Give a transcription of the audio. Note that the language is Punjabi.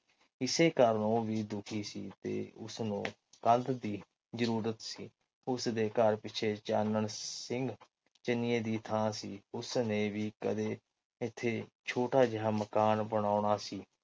ਇਸੇ ਕਾਰਨ ਉਹ ਵੀ ਦੁਖੀ ਸੀ ਤੇ ਉਸਨੂੰ ਕੰਧ ਦੀ ਜਰੂਰਤ ਸੀ ਉਸਦੇ ਘਰ ਪਿੱਛੇ ਚਾਨਣ ਸਿੰਘ ਚਨੀਏ ਦੀ ਥਾ ਸੀ। ਉਸਨੇ ਵੀ ਕਦੇ ਇੱਥੇ ਛੋਟਾ ਜਿਹਾ ਮਕਾਨ ਬਨਾਓਣਾ ਸੀ।